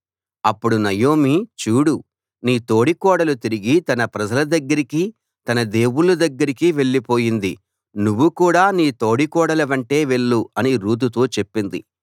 అప్పుడు నయోమి చూడు నీ తోడికోడలు తిరిగి తన ప్రజల దగ్గరికీ తన దేవుళ్ళ దగ్గరికీ వెళ్ళిపోయింది నువ్వు కూడా నీ తోడికోడలి వెంటే వెళ్ళు అని రూతుతో చెప్పింది